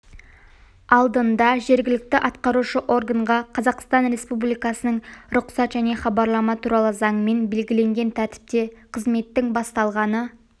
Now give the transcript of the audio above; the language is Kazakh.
алдында жергілікті атқарушы органға қазақстан республикасының рұқсат және хабарлама туралы заңымен белгіленген тәртіпте қызметтің басталғаны